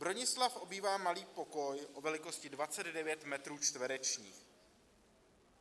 Bronislav obývá malý pokoj o velikosti 29 metrů čtverečních.